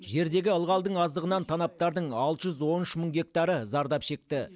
жердегі ылғалдың аздығынан танаптардың алты жүз он үш мың гектары зардап шекті